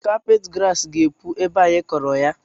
Kapeti grass ga-epu ebe a anyị kụrụ ya